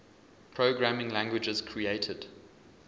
programming languages created